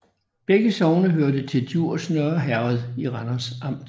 Begge sogne hørte til Djurs Nørre Herred i Randers Amt